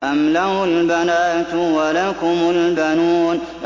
أَمْ لَهُ الْبَنَاتُ وَلَكُمُ الْبَنُونَ